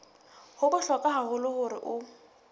ho bohlokwa haholo hore o